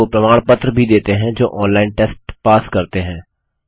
उनको प्रमाण पत्र भी देते हैं जो ऑनलाइन टेस्ट पास करते हैं